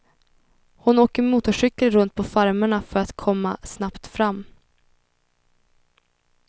Hon åker motorcykel runt på farmerna för att komma snabbt fram.